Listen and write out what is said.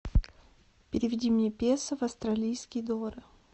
переведи мне песо в австралийские доллары